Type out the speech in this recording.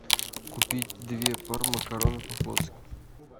купить две пары макарон по флотски